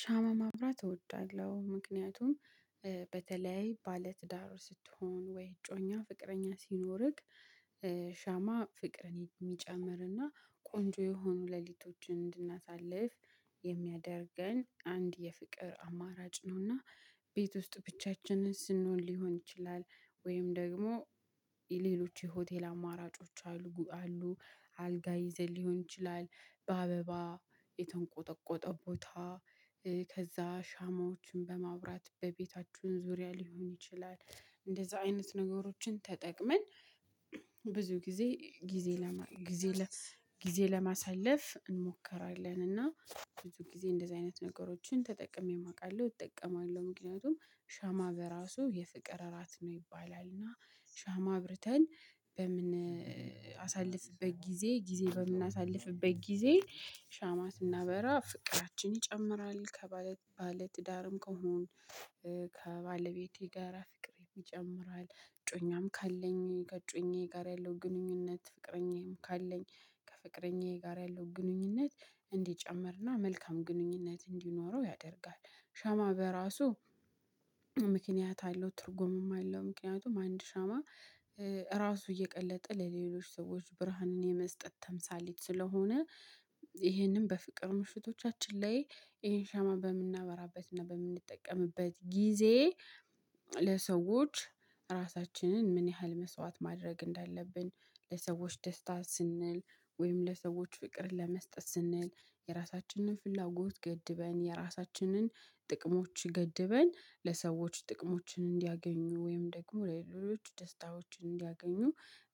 ሻማ ማብራት እወዳለሁ። ምክንያቱም በተለያይ ባለትዳር ስትሆን ወይ እጮኛ ፍቅረኛ ሲኖርክ ሻማ ፍቅርን የሚጨምርና ቆንጆ የሆኑ ሌሊቶችን እንድናሳልፍ የሚያደርገን አንድ የፍቅር አማራጭ ነው። እና ቤት ውስጥ ብቻችንን ስንሆን ሊሆን ይችላል ወይም ደግሞ የሌሎች የሆቴል አማራጮች አሉ። አልጋ ይዘን ሊሆን ይችላል በአበባ የተንቆጠቆጠ ቦታ ሻማዎችን በማብራት በቤታችሁን ዙሪያ ሊሆን ይችላል። እንደዛ አይነት ነገሮችን ተጠቅመን ብዙ ጊዜ ጊዜ ለማሳለፍ እንሞክራለን። እና ብዙ ጊዜ እንደዚህ አይነት ነገሮችን ተጠቅሜም አውቃለሁ፤ እጠቀማለሁ። ምክንያቱም ሻማ በራሱ የፍቅር እራት ነው ይባላል። እና ሻማ አብርተን በምን አሳልፍበት ጊዜ ጊዜ በምናሳልፍበት ጊዜ ሻማ ስናበራ ፍቅራችን ይጨምራል። ከባለ ባለትዳርም ከሆንን ከባለቤቴ ጋራ ፍቅሬን ይጨምራል። እጮኛም ካለኝ ከእጮኛዬ ጋር ያለው ግንኙነት ፍቅረኛዬም ካለኝ ከፍቅረኛዬ ጋር ያለው ግንኙነት እንዲጨምርና መልካም ግንኙነት እንዲኖረው ያደርጋል። ሻማ በራሱ ምክንያት አለው። ትርጉምም አለው። ምክንያቱም አንድ ሻማ ራሱ እየቀለጠ ለሌሎች ሰዎች ብርሃንን የመስጠት ተምሳሌት ስለሆነ ይሄንን በፍቅር ምሽቶቻችን ላይ ይሄን ሻማ በምናበራበትና በምንጠቀምበት ጊዜ ለሰዎች ራሳችንን ምን ያህል መስዋዕት ማድረግ እንዳለብን ለሰዎች ደስታ ስንል ወይም ለሰዎች ፍቅር ለመስጠት ስንል የራሳችንን ፍላጎት ገድበን የራሳችንን ጥቅሞች ገድበን ለሰዎች ጥቅሞችን እንዲያገኙ ወይም ደግሞ ለሌሎች ደስታዎችን እንዲያገኙ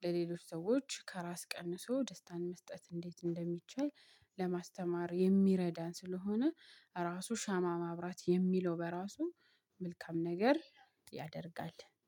ለሌሎች ሰዎች ከራስ ቀንሶ ደስታን መስጠት እንዴት እንደሚቻል ለማስተማር የሚረዳን ስለሆነ ራሱ ሻማ ማብራት የሚለው በራሱ መልካም ነገር ያደርጋል።